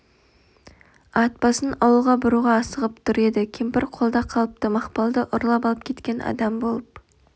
ат басын ауылға бұруға асығып тұр еді кемпір қолда қалыпты мақпалды ұрлап алып кеткен адам болып